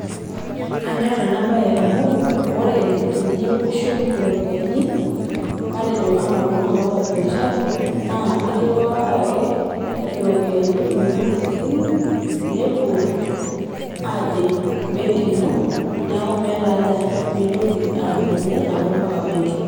Kanyorr ena bae amu ore teniyieu nishum iropiyiani ,matejo anaa oltungani loota biashara ,naa iriwaa ake iropiyiani inonok te simu ,nepuo ajing benki ino ,niaku meta haja pintoki adumunye mpaka benki.